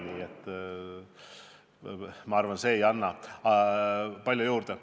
Nii et ma arvan, et see ei anna palju juurde.